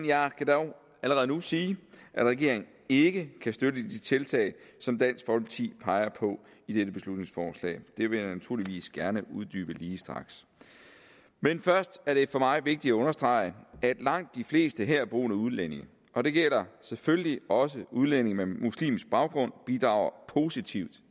jeg kan dog allerede nu sige at regeringen ikke kan støtte de tiltag som dansk folkeparti peger på i dette beslutningsforslag det vil jeg naturligvis gerne uddybe lige straks men først er det for mig vigtigt at understrege at langt de fleste herboende udlændinge og det gælder selvfølgelig også udlændinge med muslimsk baggrund bidrager positivt